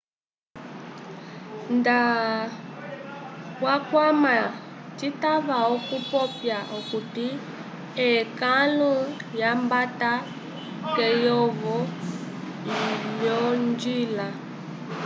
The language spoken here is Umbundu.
nda twakwama citava okupopya okuti ekãlu lyambata keyovo lyolonjila